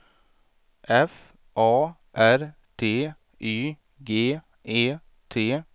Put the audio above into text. F A R T Y G E T